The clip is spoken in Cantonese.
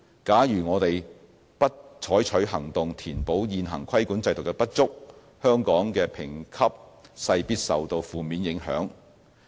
假如我們不採取行動填補現行規管制度的不足，香港的評級勢必受到負面影響。